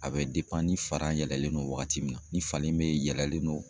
A bɛ ni yɛlɛlen don wagati min na ni falen be yɛlɛlen don